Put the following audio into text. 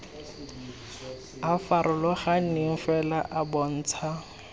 a farologaneng fela a bontsha